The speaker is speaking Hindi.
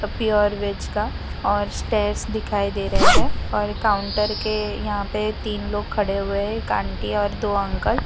प्योर वेज का और स्टेयर्स दिखाई दे रहे हैं और काउंटर के यहां पे तीन लोग खड़े हुए हैं एक आंटी और दो अंकल ।